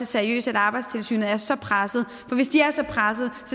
seriøst at arbejdstilsynet er så presset for hvis de er så presset